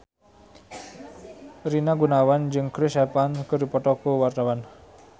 Rina Gunawan jeung Chris Evans keur dipoto ku wartawan